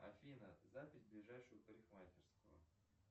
афина запись в ближайшую парикмахерскую